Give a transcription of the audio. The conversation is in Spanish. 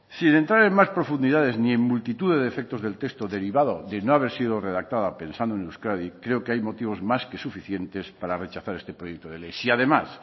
sin entrar en más profundidades ni en multitud de defectos del texto derivado de no haber sido redactada pensando en euskadi creo que hay motivos más que suficientes para rechazar este proyecto de ley si además